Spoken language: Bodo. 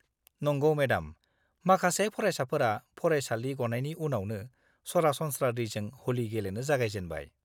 नंगौ मेडाम, माखासे फरायसाफोरा फरायसालि गनायनि उनावनो सरासनस्रा दैजों ह'लि गेलेनो जागायजेनबाय!